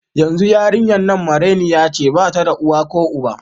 Yanzu yarinyan nan marainiya ce, bata da uwa ko uba.